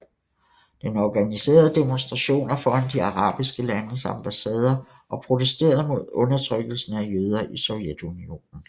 Den organiserede demonstrationer foran de arabiske landes ambassader og protesterede mod undertrykkelsen af jøder i Sovjetunionen